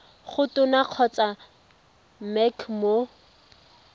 go tona kgotsa mec mo